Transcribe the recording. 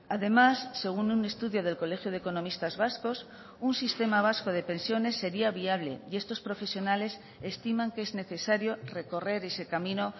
además según un estudio del colegio de economistas vascos un sistema vasco de pensiones sería viable y estos profesionales estiman que es necesario recorrer ese camino